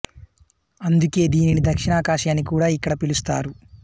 అందుకే దీనిని దక్షిణ కాశీ అని కూడా ఇక్కడ పిలుస్తారు